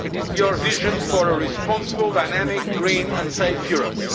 your vision for a responsible, dynamic, green and safe Europe.